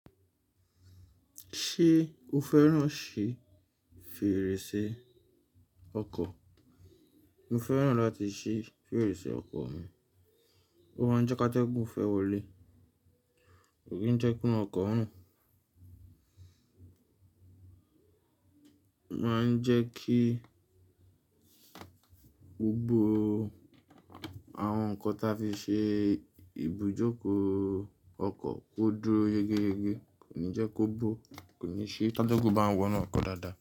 Ṣé o fẹ́ràn ṣí fèrèsé ọkọ̀? Mo fẹ́ràn láti ṣí fèrèsé ọkọ̀ mi. Ó máa ń jẹ́ ká tẹ́gùn fẹ́ wọlé, kò ní jẹ́ kí ọkọ̀ run. Ma ń jẹ́ kí gbogbo àwọn nǹkan ta fi ṣe ibùjókòó ọkọ̀ ó dúró yegeyege, kò ní jẹ́ kó bó, kò ní ṣe ká tẹ́gùn bá wọ́n na ọkọ̀ dáadáa.